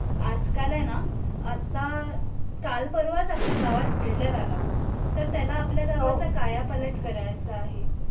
आजकाल आहे ना आता काल परवाच आपल्या गावात builder आला तर त्याला आपल्या गावचा काला पालट करायचा आहे